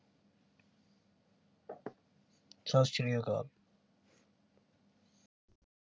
ਸੱਤ ਸ਼੍ਰੀ ਅਕਾਲ